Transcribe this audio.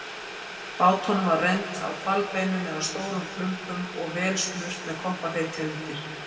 Bátunum var rennt á hvalbeinum eða stórum klumpum og vel smurt með koppafeiti undir.